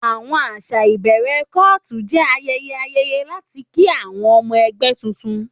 Àwọn àṣà ìbẹ̀rẹ̀ cult jẹ́ ayẹyẹ ayẹyẹ láti kí àwọn ọmọ ẹgbẹ́ tuntun.